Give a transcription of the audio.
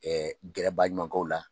gɛrɛbaaɲɔgɔnkaw la